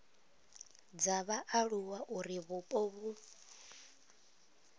dza vhaaluwa uri vhupo vhu